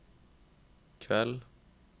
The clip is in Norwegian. kveld